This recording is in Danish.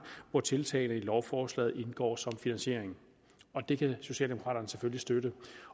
hvor tiltagene i lovforslaget indgår som finansiering det kan socialdemokraterne selvfølgelig støtte